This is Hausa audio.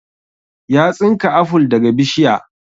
Ya tsinka aful daga bishiya